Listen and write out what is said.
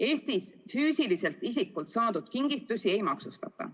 Eestis füüsiliselt isikult saadud kingitusi ei maksustata.